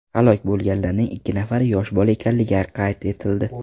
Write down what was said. Halok bo‘lganlarning ikki nafari yosh bola ekanligi qayd etildi.